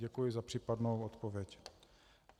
Děkuji za případnou odpověď.